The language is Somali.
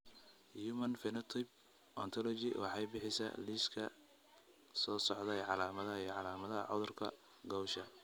The Human Phenotype Ontology waxay bixisaa liiska soo socda ee calaamadaha iyo calaamadaha cudurka Gaucher.